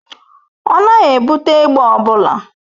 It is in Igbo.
Ọ naghị ebute egbe ọ bụla.